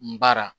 N baara